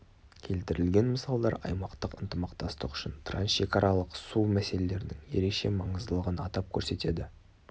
келтірілген мысалдар аймақтық ынтымақтастық үшін трансшекаралық су мәселелерінің ерекше маңыздылығын атап көрсетеді